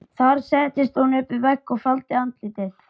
Þar settist hún upp við vegg og faldi andlitið.